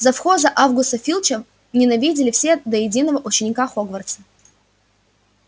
завхоза аргуса филча ненавидели все до единого ученика хогвартса